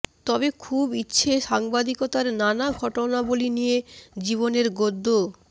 তবে খুবে ইচ্ছে সাংবাদিকতার নানা ঘটনাবলী নিয়ে জীবনের গদ্য